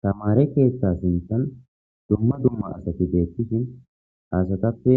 tamare keeththa sintan dumma dumma asati deettishin asatappe